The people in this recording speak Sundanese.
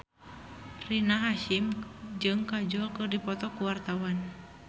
Rina Hasyim jeung Kajol keur dipoto ku wartawan